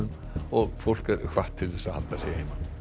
og fólk er hvatt til að halda sig heima